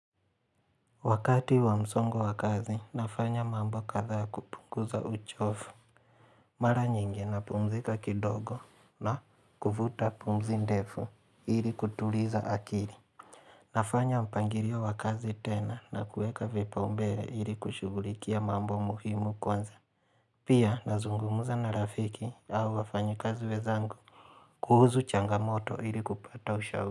Wakati wa msongo wa kazi, nafanya mambo kadha kupunguza uchovu. Mara nyingi napumzika kidogo na kuvuta pumzi ndefu ili kutuliza akili. Nafanya mpangilio wa kazi tena na kueka vipaombea ili kushugulikia mambo muhimu kwanza. Pia nazungumza na rafiki au wafanyikazi wenzangu kuhusu changamoto ili kupata ushauri.